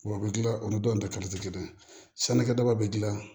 Wa u bɛ kila olu dɔ in ta kala tɛ kelen ye sannikɛdaba bɛ gilan